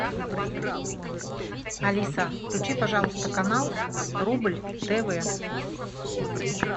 алиса включи пожалуйста канал рубль тв